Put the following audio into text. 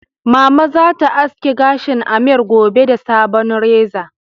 Mama zata aske gashin Ameer gobe da sabon reza